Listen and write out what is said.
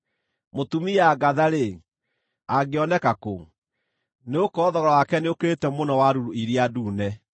Mũtumia ngatha-rĩ, angĩoneka kũ? Nĩgũkorwo thogora wake nĩũkĩrĩte mũno ũrĩa wa ruru iria ndune.